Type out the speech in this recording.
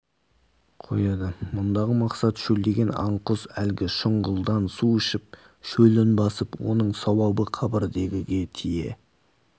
қояды мұндағы мақсат шөлдеген аң-құс әлгі шұңғылдан су ішіп шөлін басып оның сауабы қабірдегіге тие